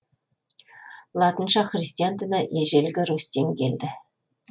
латышқа христиан діні ежелгі русьтен келді